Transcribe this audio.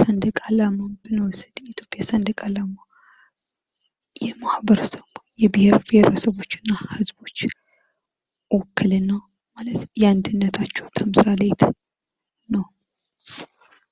ሰንደቅ አላማ ብንወስድ የኢትዮጵያን ሰንደቅ አላማ የማህበረሰቡ የብሄር ብሄረሰቦችና ህዝቦች ውክልና የአንድነታቸው ተምሳሌት ነው።